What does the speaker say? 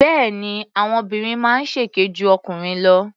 Bẹ́ẹ̀ni, àwọn obìnrin máa ń ṣèké ju ọkùnrin lọ.